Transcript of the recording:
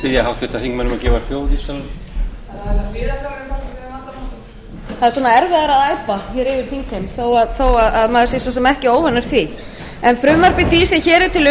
þingheim að gefa hljóð í salnum það er erfiðara að æpa yfir þingheim þó að maður sé svo sem ekki óvanur því frumvarpi því sem hér er til